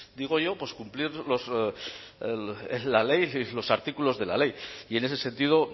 digo yo pues cumplir la ley los artículos de la ley y en ese sentido